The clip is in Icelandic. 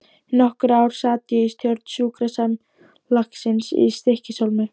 Í nokkur ár sat ég í stjórn sjúkrasamlagsins í Stykkishólmi.